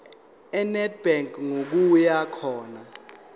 enedbank ngokuya khona